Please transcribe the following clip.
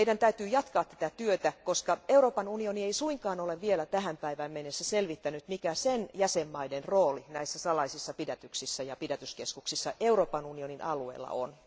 Meidän täytyy jatkaa tätä työtä, koska Euroopan unioni ei suinkaan ole vielä tähän päivään mennessä selvittänyt, mikä sen jäsenvaltioiden rooli näissä salaisissa pidätyksissä ja pidätyskeskuksissa Euroopan unionin alueella on.